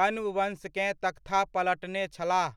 कण्ववंशकेँ तख्ता पलटने छलाह।